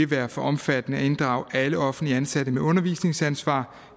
være for omfattende at inddrage alle offentligt ansatte med undervisningsansvar